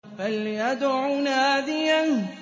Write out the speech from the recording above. فَلْيَدْعُ نَادِيَهُ